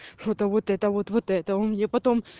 что-то вот это вот вот это он мне потом